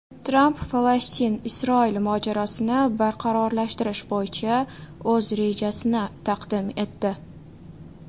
Tramp FalastinIsroil mojarosini barqarorlashtirish bo‘yicha o‘z rejasini taqdim etdi.